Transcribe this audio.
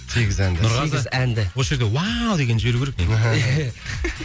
сегіз әнді сегіз әнді нұрғазы осы жерде уау дегенді жіберу керек негізі